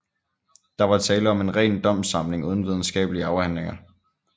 Der var tale om en ren domssamling uden videnskabelige afhandlinger